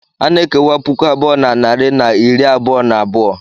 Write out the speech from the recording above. A na-ekewa puku abụọ na narị na iri abụọ na abụọ.